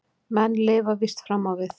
Menn lifa víst fram á við.